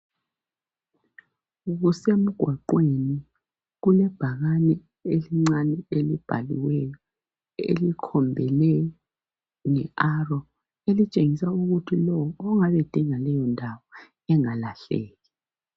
Kusemgwaqweni, kulebhakani elincani elibhaliweyo elikhombele nge aro elitshengisa ukuthi lowo ongabe edinga leyo ndawo engalahleki.